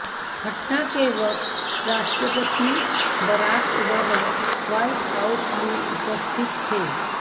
घटना के वक्त राष्ट्रपति बराक ओबामा व्हाइट हाउस में उपस्थित थे